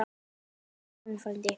Láttu það eftir honum, frændi.